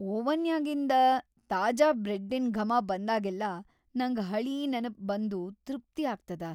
ಓವನ್ಯಾಗಿಂದ ತಾಜಾ ಬ್ರೆಡ್ಡಿನ್‌ ಘಮ ಬಂದಾಗೆಲ್ಲ ನಂಗ್ ಹಳೀ ನೆನಪ್‌ ಬಂದು ತೃಪ್ತಿ ಆಗ್ತದ.